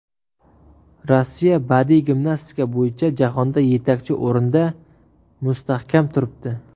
Rossiya badiiy gimnastika bo‘yicha jahonda yetakchi o‘rinda mustahkam turibdi.